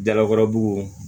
Dalakɔrɔbugu